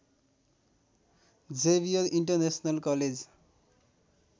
Xavier international college